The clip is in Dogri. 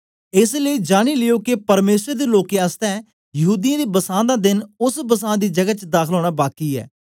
एस लेई जानी लियो के परमेसर दे लोकें आसतै यहूदीयें दे बसां दा देन ओस बसां दी जगै च दाखल ओना बाकी ऐ